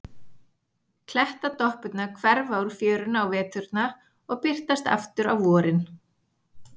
Klettadoppurnar hverfa úr fjörunni á veturna og birtast aftur á vorin.